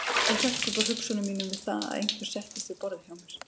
Ég hrökk upp úr hugsunum mínum við það að einhver settist við borðið hjá mér.